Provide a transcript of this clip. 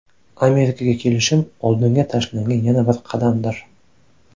Amerikaga kelishim oldinga tashlangan yana bir qadamdir.